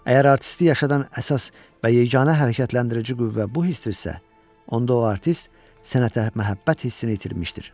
Əgər artisti yaşadan əsas və yeganə hərəkətləndirici qüvvə bu hissdirsə, onda o artist sənətə məhəbbət hissini itirmişdir.